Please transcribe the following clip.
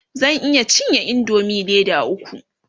zan iya cinye indomie Leda ukwu